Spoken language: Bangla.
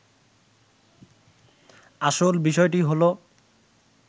আসল বিষয়টি হলো